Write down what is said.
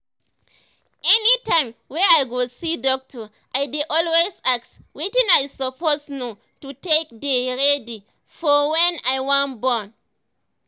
anytime wey i go see doctor i dey always ask wetin i suppose know to take dey ready for wen i wan born